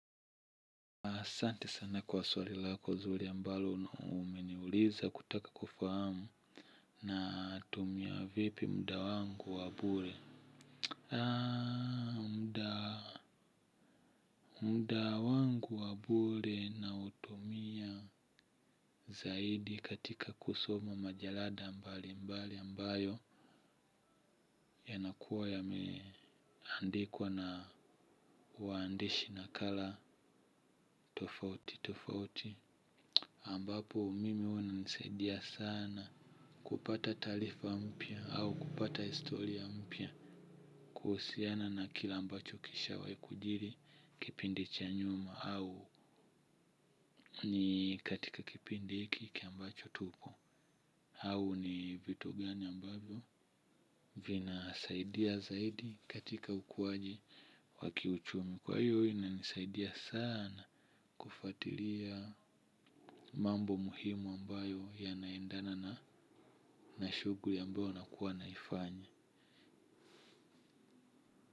Asante sana kwa swali lako nzuri ambalo umeniuliza kutaka kufahamu natumia vipi muda wangu wa bure. Muda wangu wa bure nautumia zaidi katika kusoma majalada mbalimbali ambayo yanakuwa yameandikwa na waandishi nakala tofauti tofauti. Ambapo mimi huwa inanisaidia sana kupata taarifa mpya au kupata historia mpya kuhusiana na kile ambacho kishawahi kujiri kipindi cha nyuma au ni katika kipindi hiki ambacho tupo. Au ni vitu gani ambavyo vinasaidia zaidi katika ukuwaji wa kiuchumi. Kwa hiyo huwa inanisaidia sana kufuatilia mambo muhimu ambayo yanaendana na na shughuli ambayo nakuwa naifanya.